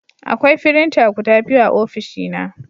Akwai firinta guda biyu a ofishina